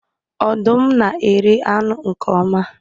Ọdụm na-eri anụ nke oma.